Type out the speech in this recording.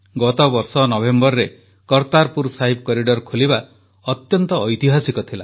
ଗତବର୍ଷ ନଭେମ୍ବରରେ କରତାରପୁର ସାହିବ କରିଡର ଖୋଲିବା ଅତ୍ୟନ୍ତ ଐତିହାସିକ ଥିଲା